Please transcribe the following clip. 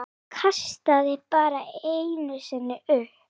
Kastaði bara einu sinni upp.